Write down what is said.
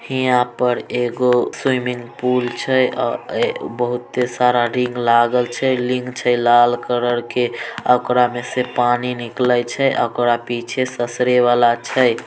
यहाँ पर एक स्वीमिंगपुल छै अ बहूते सारा रिंग लागल छै रिंग छै लाल कलर के ओकरा में से पानी निकले छै ओकरा पीछे ससरे बाला छै।